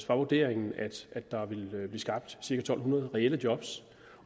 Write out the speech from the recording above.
var vurderingen at der ville blive skabt cirka to hundrede reelle job